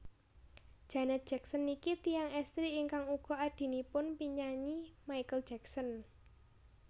Janet Jackson niki tiyang estri ingkang uga adhinipun penyanyi Michael Jackson